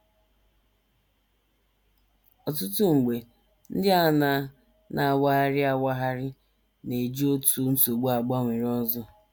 Ọtụtụ mgbe, ndị a na - na - awagharị awagharị na - eji otu nsogbu agbanwere ọzọ.